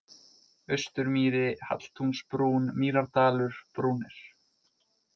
Austurmýri, Halltúnsbrún, Mýrardalur, Brúnir